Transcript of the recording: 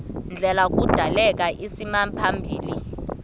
ndlela kudaleka isimaphambili